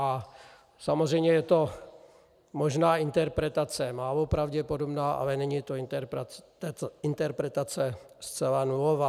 A samozřejmě je to možná interpretace málo pravděpodobná, ale není to interpretace zcela nulová.